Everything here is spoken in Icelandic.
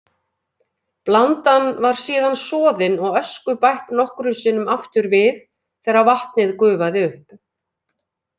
Blandan var síðan soðin og ösku bætt nokkrum sinnum aftur við þegar vatnið gufaði upp.